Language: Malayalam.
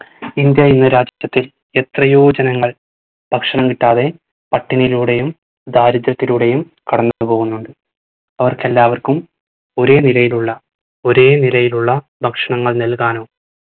ഇന്ത്യ എന്ന രാഷ്ട്രത്തിൽ എത്രയോ ജനങ്ങൾ ഭക്ഷണം കിട്ടാതെ പട്ടിണിയിലൂടെയും ദാരിദ്ര്യത്തിലൂടെയും കടന്നു പോകുന്നുണ്ട്. അവർക്കെല്ലാവർക്കും ഒരേ നിലയിലുള്ള ഒരേ നിരയിലുള്ള ഭക്ഷണങ്ങൾ നൽകാനോ